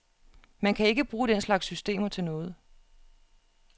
Man kan ikke bruge den slags systemer til noget.